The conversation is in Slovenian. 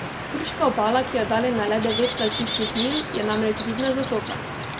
Turška obala, ki je oddaljena le devet navtičnih milj, je namreč vidna z otoka.